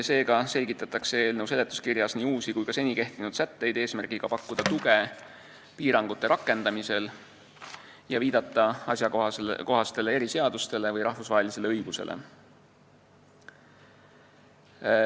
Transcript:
Seega selgitatakse eelnõu seletuskirjas nii uusi kui ka seni kehtinud sätteid, et pakkuda tuge piirangute rakendamisel ja viidata asjakohastele eriseadustele või rahvusvahelisele õigusele.